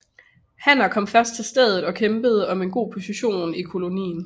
Hanner kommer først til stedet og kæmper om en god position i kolonien